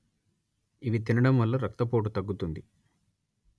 ఇవి తినడం వల్ల రక్తపోటు తగ్గుతుంది